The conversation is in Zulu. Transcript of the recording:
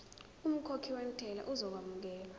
umkhokhi wentela uzokwamukelwa